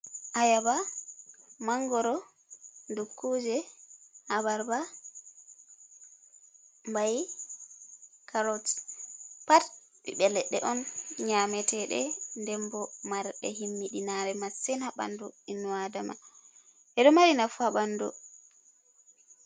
Ayaba, mangoro, dukkuje, abarba, bai carot pat ɓiɓɓe leɗɗe on nyameteɗe ɗen bo marbe himmiɗinare masin ha ɓandu innu Adama. Ɓeɗo mari nafu ha ɓandu.